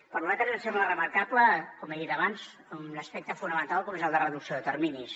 per nosaltres ens sembla remarcable com he dit abans un aspecte fonamental que és el de reducció de terminis